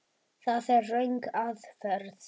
Það er röng aðferð.